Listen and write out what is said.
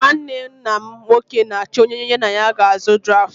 Nnwanne nna m nwoke na-achọ onye ya na ya ga-azụ draftụ